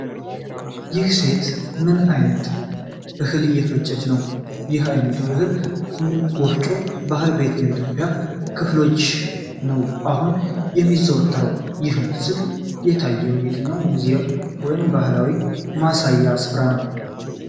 ይህች ሴት ምን ዓይነት እህል እየፈጨች ነው? ይህ ዓይነቱ የእህል መፍጨት ባህል በየትኞቹ የኢትዮጵያ ክፍሎች ነው አሁንም የሚዘወተረው? ይህ ምስል የታየው በየትኛው ሙዚየም ወይም ባህላዊ ማሳያ ስፍራ ነው?